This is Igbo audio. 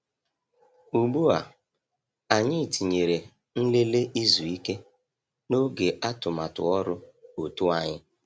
Ugbu a, anyị tinyere "nlele izu ike" n’oge atụmatụ ọrụ òtù anyị.